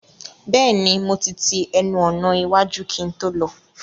Bẹ́ẹ̀ni mo ti ti ẹnu ọ̀nà iwájú kí n tó lọ